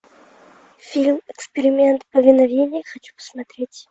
фильм эксперимент повиновение хочу посмотреть